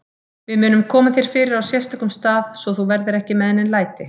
Við munum koma þér fyrir á sérstökum stað, svo þú verðir ekki með nein læti.